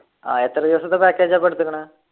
ആഹ് എത്ര ദിവസത്തെ package ആ അപ്പൊ എടുത്തുക്കുണ്